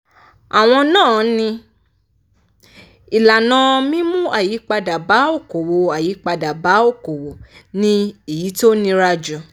àwọn náà ni: ìlànà mímú àyípadà bá òkòòwò àyípadà bá òkòòwò ni èyí tó nira jù.